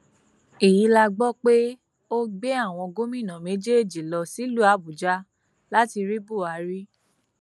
èyí la gbọ pé ó gbé àwọn gómìnà méjèèjì lọ sílùú àbújá láti rí buhari